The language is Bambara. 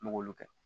N m'olu kɛ